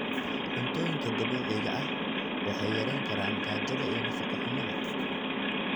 Cuntooyinka dabiiciga ahi waxay yarayn karaan gaajada iyo nafaqo-xumada.